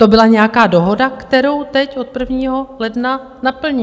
To byla nějaká dohoda, kterou teď od 1. ledna naplní.